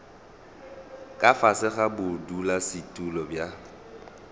ka fase ga bodulasetulo bja